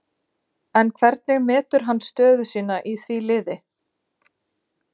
En hvernig metur hann sína stöðu í því liði?